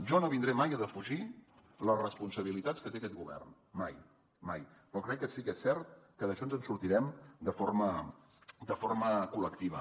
jo no vindré mai a defugir les responsabilitats que té aquest govern mai mai però crec que sí que és cert que d’això ens en sortirem de forma col·lectiva